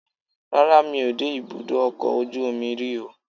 rara, mí o de ibudọ ọkọ ojú omí rí o